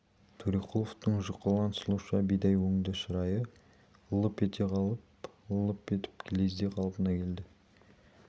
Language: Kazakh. төреқұловтың жұқалаң сұлуша бидай өңді шырайы лып ете қалып лып етіп лезде қалпына келді